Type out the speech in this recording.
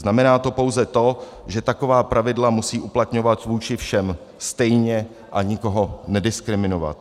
Znamená to pouze to, že taková pravidla musí uplatňovat vůči všem stejně a nikoho nediskriminovat.